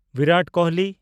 Virat Kohli